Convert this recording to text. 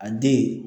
A den